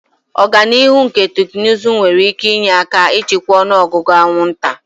Ọganihu na teknụzụ nwere ike inye aka ịchịkwa ọnụ ọgụgụ anwụnta.